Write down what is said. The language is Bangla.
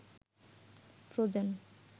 ফ্রোজেন